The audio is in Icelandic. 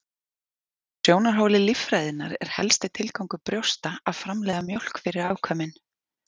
Frá sjónarhóli líffræðinnar er helsti tilgangur brjósta að framleiða mjólk fyrir afkvæmin.